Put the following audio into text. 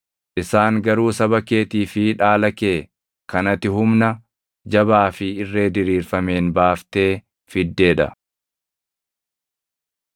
Isaan garuu saba keetii fi dhaala kee kan ati humna jabaa fi irree diriirfameen baaftee fiddee dha.”